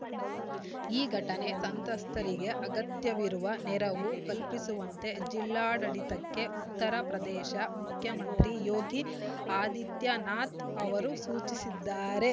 ಈ ಘಟನೆ ಸಂತ್ರಸ್ತರಿಗೆ ಅಗತ್ಯವಿರುವ ನೆರವು ಕಲ್ಪಿಸುವಂತೆ ಜಿಲ್ಲಾಡಳಿಡತಕ್ಕೆ ಉತ್ತರ ಪ್ರದೇಶ ಮುಖ್ಯಮಂತ್ರಿ ಯೋಗಿ ಆದಿತ್ಯನಾಥ್‌ ಅವರು ಸೂಚಿಸಿದ್ದಾರೆ